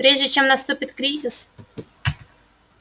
прежде чем наступит кризис